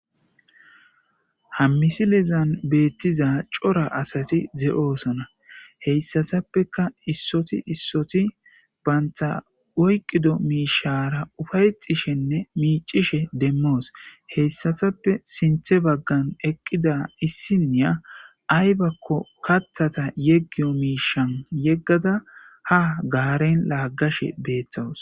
hammisilizan beettiza cora asati ze7oosona heyssatappeka issoti issoti banta oyqido miishara ufayexishenne miicishe demmoos heyssatappe sinthe baggan eqqida issiniya aybakko kathata yeggiyo miishan yeggada ha gaaren laagashe beettawus